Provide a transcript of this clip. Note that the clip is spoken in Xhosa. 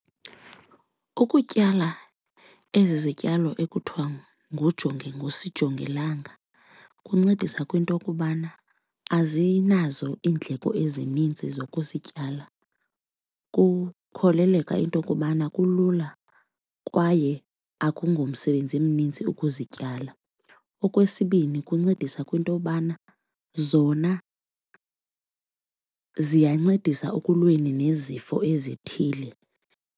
Ukutyala ezi zityalo ekuthiwa ngusijongilanga kuncedisa kwinto okubana azinazo iindleko ezininzi zokusityala. Kukholeleka into okubana kulula kwaye akungomsebenzi mninzi ukuzityala. Okwesibini, kuncedisa kwintobana zona ziyancedisa ekulweni nezifo ezithile.